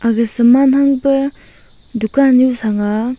aga saman hangpa dukan nu sang a.